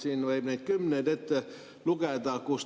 Neid võib kümneid ette lugeda.